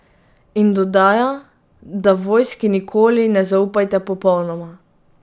In dodaja, da vojski nikoli ne zaupajte popolnoma.